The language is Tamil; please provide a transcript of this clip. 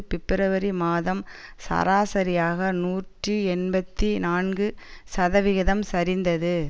பிப்ரவரி மாதம் சராசரியாக நூற்றி எண்பத்தி நான்கு சதவிகிதம் சரிந்தது